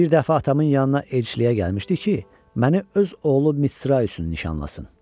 Bir dəfə atamın yanına elçiliyə gəlmişdi ki, məni öz oğlu Misra üçün nişanlasın.